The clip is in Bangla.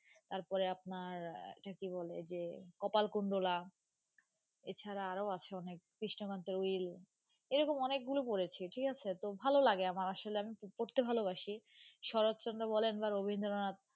তারপরে আপনার একটা কি বলে যে কপাল কুন্ডলা এছাড়া আরও আছে অনেক কৃষ্ণকান্তের উইল এরকম অনেকগুলো পড়েছি ঠিক আছে তো ভালো লাগে আমার আসলে আমি খুব পড়তে ভালোবাসি শরৎচন্দ্র বলেন বা রবীন্দ্রনাথ